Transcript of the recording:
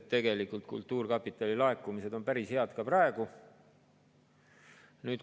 Tegelikult on kultuurkapitali laekumised päris head ka praegu.